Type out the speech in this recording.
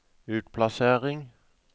utplassering